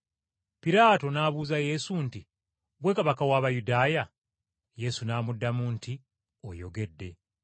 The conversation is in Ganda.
Piraato n’abuuza Yesu nti, “Ggwe Kabaka w’Abayudaaya?” Yesu n’amuddamu nti, “Oyogedde.”